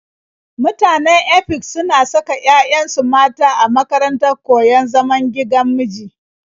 Mutanen Efik suna saka 'ya'yansu mata a makarantar koyon zaman gigan miji.